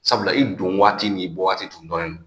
Sabula i don waati ni waati tun dɔnnen don